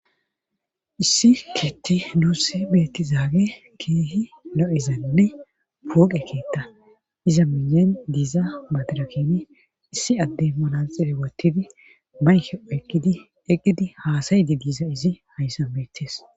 issi keetti nuusse beettizaage keehi lo7izanne pooqe keetta iza minyen diiza badirakieni issi adde malaxee wottidi mayhe eqqidi eqqidi haasayidi diiza izi hayssa beettes